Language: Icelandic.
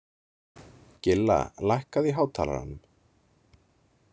Gilla, lækkaðu í hátalaranum.